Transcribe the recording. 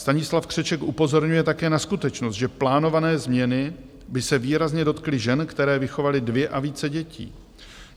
Stanislav Křeček upozorňuje také na skutečnost, že plánované změny by se výrazně dotkly žen, které vychovaly dvě a více dětí.